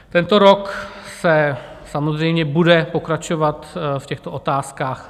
Tento rok se samozřejmě bude pokračovat v těchto otázkách.